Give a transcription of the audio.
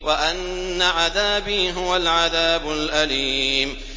وَأَنَّ عَذَابِي هُوَ الْعَذَابُ الْأَلِيمُ